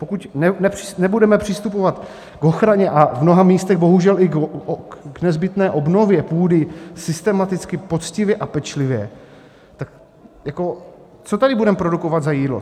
Pokud nebudeme přistupovat k ochraně a v mnoha místech bohužel i k nezbytné obnově půdy systematicky, poctivě a pečlivě, tak jako co tady budeme produkovat za jídlo?